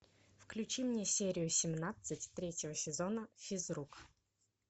включи мне серию семнадцать третьего сезона физрук